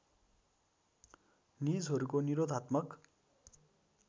निजहरूको निरोधात्मक